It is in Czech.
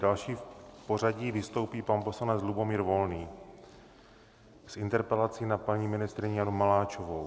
Další v pořadí vystoupí pan poslanec Lubomír Volný s interpelací na paní ministryni Janu Maláčovou.